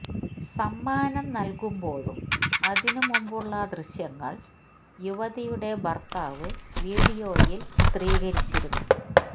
സമ്മാനം നല്കുമ്പോഴും അതിനു മുമ്പുമുള്ള ദൃശ്യങ്ങള് യുവതിയുടെ ഭര്ത്താവ് വീഡിയോയില് ചിത്രീകരിച്ചിരുന്നു